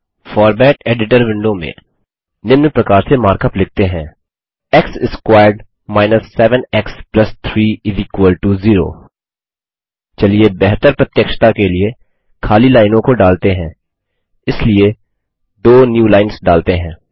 format editor window में निम्न प्रकार से मार्क अप लिखते हैं x squared minus 7 x plus 3 0 चलिए बेहतर प्रत्यक्षता के लिए खाली लाइनों को डालते हैं इसलिए दो न्यूलाइन्स डालते हैं